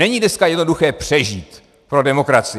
Není dneska jednoduché přežít pro demokracii.